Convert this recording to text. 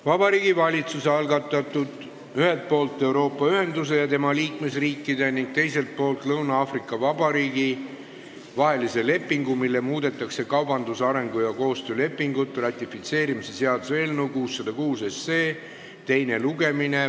Vabariigi Valitsuse algatatud "Ühelt poolt Euroopa Ühenduse ja tema liikmesriikide ning teiselt poolt Lõuna-Aafrika Vabariigi vahelise lepingu, millega muudetakse kaubandus-, arengu- ja koostöölepingut" ratifitseerimise seaduse eelnõu 606 teine lugemine.